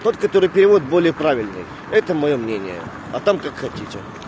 тот который перевод более правильный это моё мнение а там как хотите